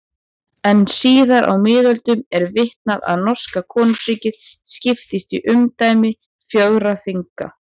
En síðar á miðöldum er vitað að norska konungsríkið skiptist í umdæmi fjögurra þinga.